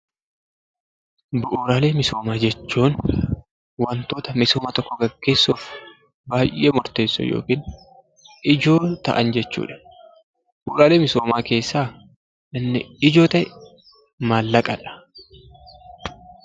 Bu'uuraalee misoomaa jechuun wantoota misooma tokko milkeessuuf baayyee murteessoo yookiin ijoo ta'an jechuudha. Bu'uuraalee misoomaa keessaa inni ijoo ta'e maallaqadha.